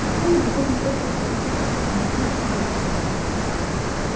на сцену выходит тётка с толстой попой объяснил попугай